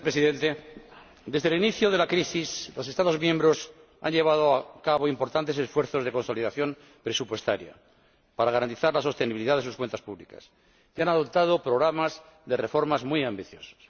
Señor Presidente, desde el inicio de la crisis los Estados miembros han llevado a cabo importantes esfuerzos de consolidación presupuestaria, para garantizar la sostenibilidad de sus cuentas públicas, y han adoptado programas de reforma muy ambiciosos.